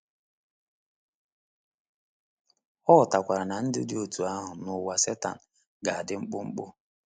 Ọ ghọtakwara na ndụ dị otú ahụ n’ụwa Setan ga-adị mkpụmkpụ.